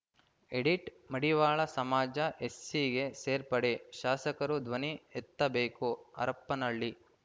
edit Madivala ಸಮಾಜ ಎಸ್ಸಿಗೆ ಸೇರ್ಪಡೆ ಶಾಸಕರು ಧ್ವನಿ ಎತ್ತಬೇಕು ಹರಪನಹಳ್ಳಿ